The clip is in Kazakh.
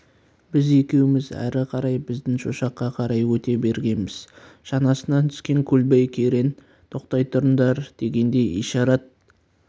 біз екеуміз әрі қарай біздің шошаққа қарай өте бергенбіз шанасынан түскен көлбай керең тоқтай тұрыңдар дегендей ишарат